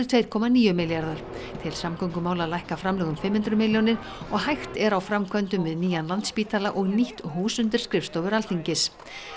tveir komma níu milljarðar til samgöngumála lækka framlög um fimm hundruð milljónir og hægt er á framkvæmdum við nýjan Landspítala og nýtt hús undir skrifstofur Alþingis